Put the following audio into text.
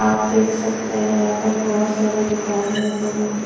आप देख सकते हैं यहां पर बहुत सारी दुकाने और लोगों की --